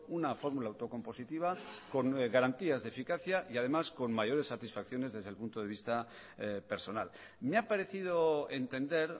una fórmula autocompositiva con garantías de eficacia y además con mayores satisfacciones desde el punto de vista personal me ha parecido entender